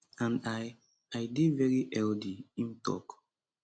and i i dey veri healthy im tok